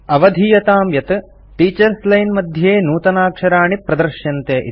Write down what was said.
अवधीयताम् यत् teachers line मध्ये नूतनाक्षराणि प्रदृश्यन्ते इति